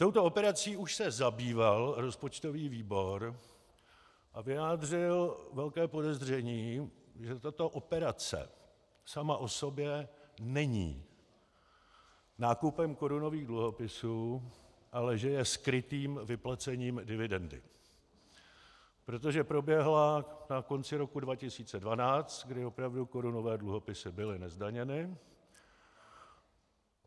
Touto operací už se zabýval rozpočtový výbor a vyjádřil velké podezření, že tato operace sama o sobě není nákupem korunových dluhopisů, ale že je skrytým vyplacením dividendy, protože proběhla na konci roku 2012, kdy opravdu korunové dluhopisy byly nezdaněny.